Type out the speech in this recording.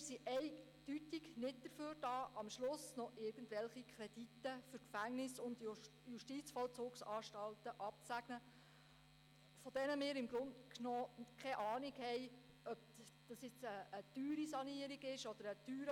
Wir sind eindeutig nicht dazu da, um irgendwelche Kredite für Gefängnisse und Justizvollzugsanstalten am Schluss noch abzusegnen – zumal wir dann nicht abschätzen können, ob die Kosten einer Sanierung oder eines Baus zu hoch sind, oder ob sie gerade noch im normalen Bereich liegen.